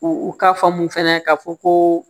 U u ka faamu fɛnɛ ka fɔ koo